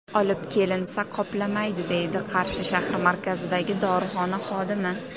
Olib kelinsa, qoplamaydi”, deydi Qarshi shahri markazidagi dorixona xodimi.